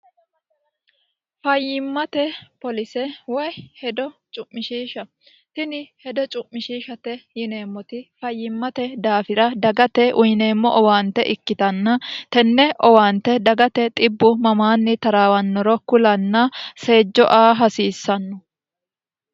fayyimmate polise woy hedo cu'mishiishsha tini hedo cu'mishiishate yineemmoti fayyimmate daafira dagate uyineemmo owaante ikkitanna tenne owaante dagate xibbu mamaanni taraawannoro kulanna seejjo a hasiissanno